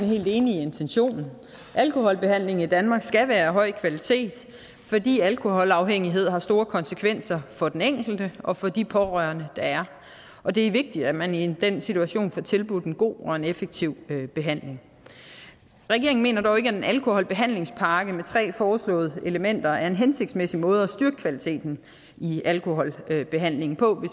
helt enig i intentionen alkoholbehandlingen i danmark skal være af høj kvalitet fordi alkoholafhængighed har store konsekvenser for den enkelte og for de pårørende der er og det er vigtigt at man i den situation får tilbudt en god og effektiv behandling regeringen mener dog ikke at en alkoholbehandlingspakke med de tre foreslåede elementer er en hensigtsmæssig måde at styrke kvaliteten i alkoholbehandlingen på